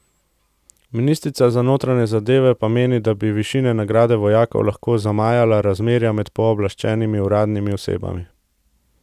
Ministrica za notranje zadeve pa meni, da bi višina nagrade vojakom lahko zamajala razmerja med pooblaščenimi uradnimi osebami.